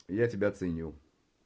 я тебя ценю